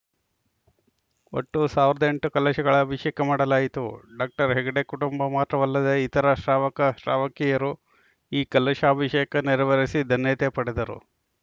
ಒಟ್ಟು ಒಂದು ಎಂಟು ಕಲಶಗಳ ಅಭಿಷೇಕ ಮಾಡಲಾಯಿತು ಡಾಕ್ಟರ್ ಹೆಗ್ಗಡೆ ಕುಟುಂಬ ಮಾತ್ರವಲ್ಲದೆ ಇತರೆ ಶ್ರಾವಕ ಶ್ರಾವಕಿಯರೂ ಈ ಕಲಶಾಭಿಷೇಕ ನೆರವೇರಿಸಿ ಧನ್ಯತೆ ಪಡೆದರು